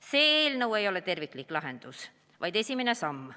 See eelnõu ei ole terviklik lahendus, vaid esimene samm.